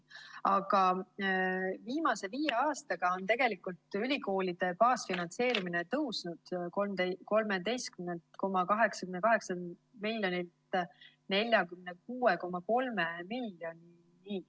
Viimase viie aastaga on ülikoolide baasfinantseerimine tõusnud 13,88 miljonilt 46,3 miljonini.